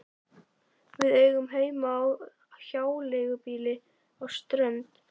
Við eigum heima á hjáleigubýli á Strönd.